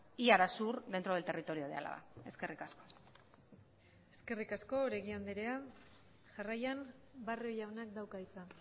y arasur dentro del territorio de álava eskerrik asko eskerrik asko oregi andrea jarraian barrio jaunak dauka hitza